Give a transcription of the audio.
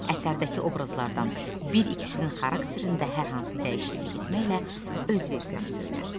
Əsərdəki obrazlardan bir ikisinin xarakterində hər hansı dəyişiklik etməklə öz versiyanı söylə.